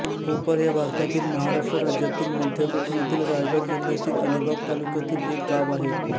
कोपर हे भारतातील महाराष्ट्र राज्यातील मध्य कोकणातील रायगड जिल्ह्यातील अलिबाग तालुक्यातील एक गाव आहे